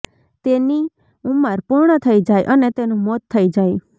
તેની ઉંમર પૂર્ણ થઈ જાય અને તેનું મોત થઈ જાય